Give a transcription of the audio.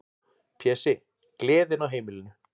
Pési, gleðin á heimilinu.